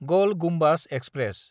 गल गुम्बाज एक्सप्रेस